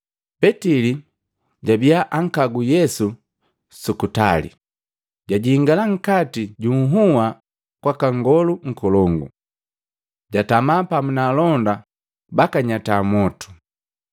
Petili jabia ankagu Yesu sukutali, jajingala nkati junhua kwaka Nngolu Nkolongu. Jatama pamu na alonda bakanyata mwotu.